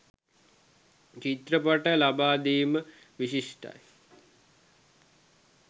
චිත්‍රපට ලබා දීම විශිෂ්ටයි.